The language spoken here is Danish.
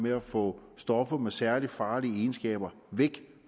at få stoffer med særlig farlige egenskaber væk